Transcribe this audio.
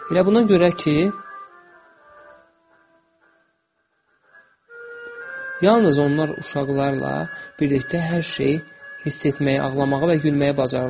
Elə buna görə ki, yalnız onlar uşaqlarla birlikdə hər şeyi hiss etməyi, ağlamağı və gülməyi bacarırlar.